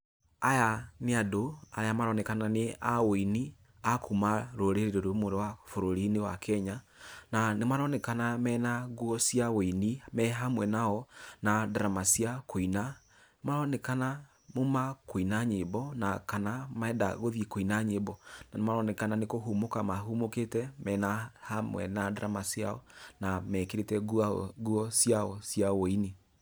Aya nĩ andũ, aria maronekana nĩ a ũini a kũma rũrĩrĩ rũmwe rwa bũrũri-inĩ wa kenya, na nĩ maronekana me ngũo cia ũini me hamwe nao na ndarama cia kũina. Maronekana maũma kũina nyĩmbo, na kana marenda gũthĩe kũina nyĩmbo na nĩ maronekana nĩ kũhũmuka mahũmũkĩte mena hamwe na ndarama ciao na mekĩrĩke ngũo ciao cia ũini.